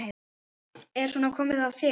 Er svona komið fyrir þér?